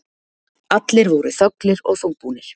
Allir voru þöglir og þungbúnir.